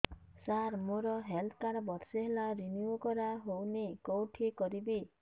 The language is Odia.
ସାର ମୋର ହେଲ୍ଥ କାର୍ଡ ବର୍ଷେ ହେଲା ରିନିଓ କରା ହଉନି କଉଠି କରିବି